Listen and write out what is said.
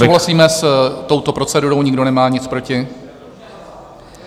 Souhlasíme s touto procedurou, nikdo nemá nic proti?